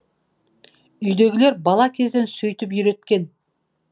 үйдегілер бала кезден сөйтіп үйреткен